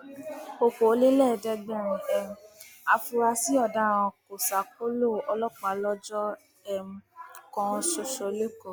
ọkọọlẹẹẹdẹgbẹrin um afurasí ọdaràn kò ṣàkólò ọlọpàá lọjọ um kan ṣoṣo lẹkọọ